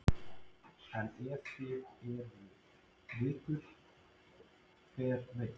En ef það eru vikur, hver veit?